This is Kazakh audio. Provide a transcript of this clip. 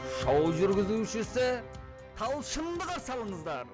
шоу жүргізушісі талшынды қарсы алыңыздар